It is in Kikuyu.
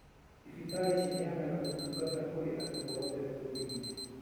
Thibitarĩ ciheanaga ũtungata kũrĩ andu oothe bũrũri-inĩ